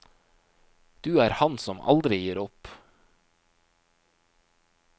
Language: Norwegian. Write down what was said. Du er han som aldri gir opp.